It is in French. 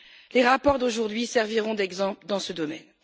Les rapports d'aujourd'hui serviront d'exemples dans ce domaine.